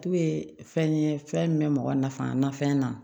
K'u ye fɛn ye fɛn min bɛ mɔgɔ nafa na fɛn na